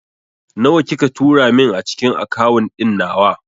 Nawa kika tura min a cikin akawun ɗin nawa?